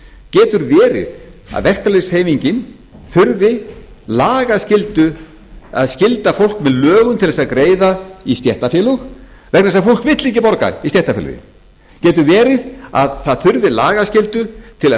getur verið að verkalýðshreyfingin þurfi lagaskyldu að skylda fólk með lögum til þess að greiða í stéttarfélög vegna þess að fólk vill ekki borga í stéttarfélögin getur verið að það þurfi lagaskyldu til að